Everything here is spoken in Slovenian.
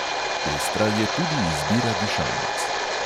Pestra je tudi izbira dišavnic.